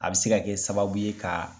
A bɛ se ka kɛ sababu ye ka,